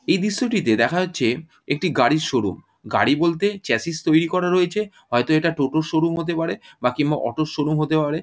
এই দৃশ্যটিতে দেখা যাচ্ছে একটি গাড়ির শোরুম | গাড়ি বলতে চাসিস তৈরি করা রয়েছে হয়তো এটা টোটো -র শোরুম হতে পারে | বা কিংবা অটো -র শোরুম হতে পারে।